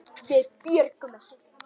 Við björgum þessu.